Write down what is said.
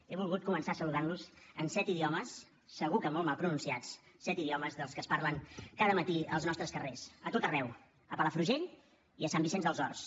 he volgut començar saludant los en set idiomes segur que molt mal pronunciats set idiomes dels que es parlen cada matí als nostres carrers a tot arreu a palafrugell i a sant vicenç dels horts